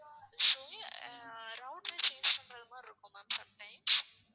so router change பண்ற மாதிரி இருக்கும் ma'amsometimes